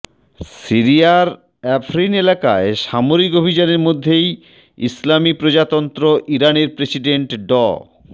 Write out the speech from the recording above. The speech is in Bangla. সিরিয়ার আফরিন এলাকায় সামরিক অভিযানের মধ্যেই ইসলামি প্রজাতন্ত্র ইরানের প্রেসিডেন্ট ড